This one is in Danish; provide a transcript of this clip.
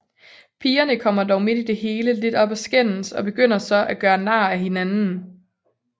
Pigerne kommer dog midt i det hele lidt op at skændes og begynder så at gøre nar af hinanden